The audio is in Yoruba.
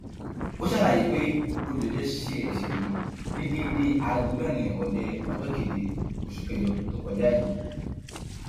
ó ṣàlàyé pé olùjẹjọ ṣe ẹsẹ yìí ní déédé aago mẹrin ìrọlẹ ọjọ keje oṣù kẹjọ tó kọjá yìí